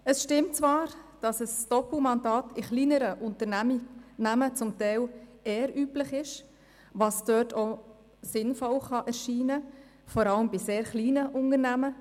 Es stimmt, dass Doppelmandate in kleineren Unternehmen zum Teil üblich sind, was dort auch sinnvoll erscheinen kann, gerade bei sehr kleinen Unternehmen.